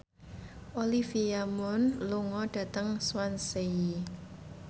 Olivia Munn lunga dhateng Swansea